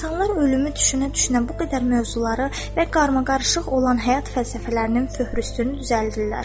İnsanlar ölümü düşünə-düşünə bu qədər mövzuları və qarmaqarışıq olan həyat fəlsəfələrinin föhrüstünü düzəldirlər.